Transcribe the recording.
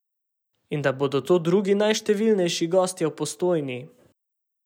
In da bodo to drugi najštevilnejši gostje v Postojni?